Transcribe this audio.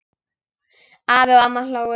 Afi og amma hlógu.